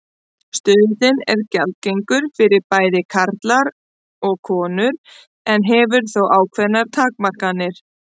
Stuðullinn er gjaldgengur fyrir bæði karla og konur en hefur þó ákveðnar takmarkanir.